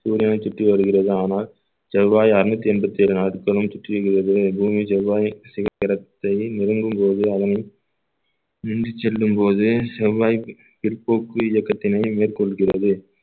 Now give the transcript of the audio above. சூரியனை சுற்றி வருகிறது ஆனால் செவ்வாய் அறுநூத்தி எண்பத்தி ஏழு நாட்களும் சுற்றி பூமி செவ்வாய் சிகிரத்தை நெருங்கும் போது அதனை நின்று செல்லும்போது செவ்வாய் பிற்போக்கு இயக்கத்தினை மேற்கொள்கிறது